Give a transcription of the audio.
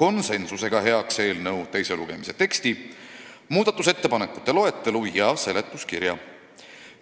konsensusega heaks eelnõu teise lugemise teksti, muudatusettepanekute loetelu ja seletuskirja.